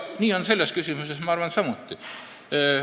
Selles küsimuses, ma arvan, on samuti.